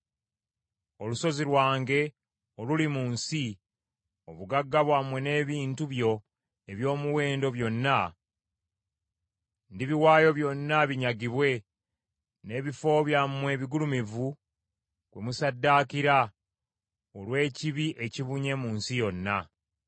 Olusozi lwange oluli mu nsi, obugagga bwammwe n’ebintu byo eby’omuwendo byonna, ndibiwaayo byonna binyagibwe n’ebifo byammwe ebigulumivu kwe musaddaakira olw’ekibi ekibunye mu nsi yonna.